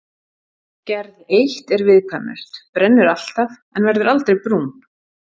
Gerð eitt er viðkvæmust, brennur alltaf en verður aldrei brún.